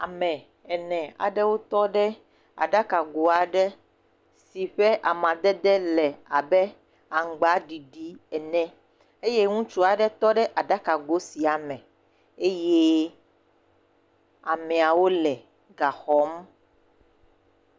Ame ene aewo tɔ ɖe aɖakago aɖe si ƒe amadede le abe aŋugbaɖiɖi ene eye ŋutsu aɖe tɔ ɖe aɖakago sia me eye ameawo le ga xɔm.